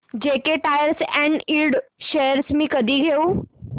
JK tyre and ind shares मी कधी घेऊ